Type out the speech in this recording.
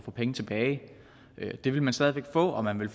få penge tilbage det vil man stadig væk få og man vil